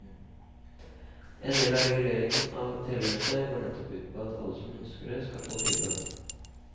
En del av reguleringen av telenettet går nettopp ut på at alle som ønsker det skal få tilgang.